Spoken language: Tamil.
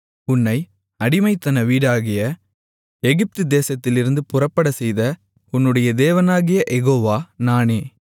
உன்னை அடிமைத்தன வீடாகிய எகிப்துதேசத்திலிருந்து புறப்படச்செய்த உன்னுடைய தேவனாகிய யெகோவா நானே